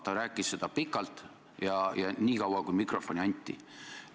Ta rääkis sellest pikalt ja nii kaua, kui mikrofoni anti.